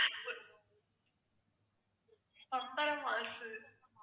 பம்பரமாசு